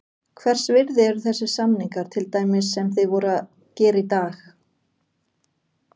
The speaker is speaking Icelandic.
Hvers virði eru þessir samningar, til dæmis sem þið voruð að gera í dag?